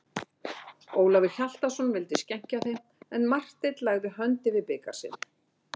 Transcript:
Ólafur Hjaltason vildi skenkja þeim, en Marteinn lagði hönd yfir bikar sinn.